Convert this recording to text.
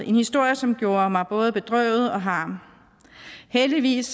en historie som gjorde mig både bedrøvet og harm heldigvis